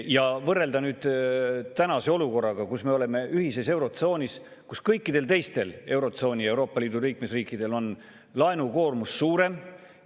Ja võrrelda nüüd tänase olukorraga, kus me oleme ühises eurotsoonis, kus kõikidel teistel eurotsooni ja Euroopa Liidu liikmesriikidel on laenukoormus suurem …